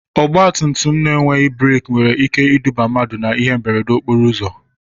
Ọgba tum tum enweghị breki nwere ike iduba mmadụ na ihe mberede okporo ụzọ.